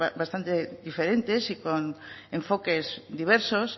bastante diferentes y con enfoques diversos